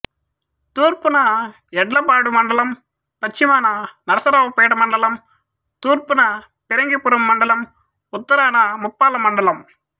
తూర్పున యడ్లపాడు మండలం పశ్చిమాన నరసరావుపేట మండలం తూర్పున ఫిరంగిపురం మండలం ఉత్తరాన ముప్పాళ్ళ మండలం